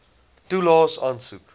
toelaes aansoek